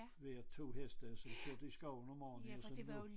Hver 2 heste og som kørte i skoven om morgenen jo som nu